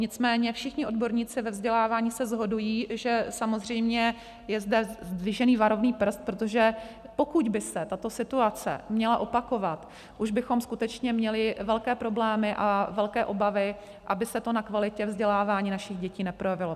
Nicméně všichni odborníci ve vzdělávání se shodují, že samozřejmě je zde zdvižený varovný prst, protože pokud by se tato situace měla opakovat, už bychom skutečně měli velké problémy a velké obavy, aby se to na kvalitě vzdělávání našich dětí neprojevilo.